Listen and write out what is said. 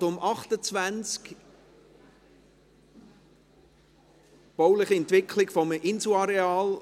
Ergänzend zum vorliegenden Bericht ist der BAK eine Übersicht über die bauliche Entwicklung der gesamten Universität vorzulegen.